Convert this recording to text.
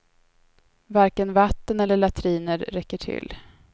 Varken vatten eller latriner räcker till.